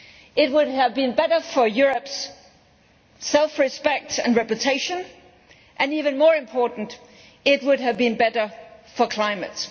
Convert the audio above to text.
It would have been better for Europe's self respect and reputation and even more important, it would have been better for the climate.